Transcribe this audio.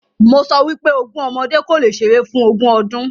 Mo sọ wípé “ogún ọmọdé kò lè ṣeré fún ogún ọdún.”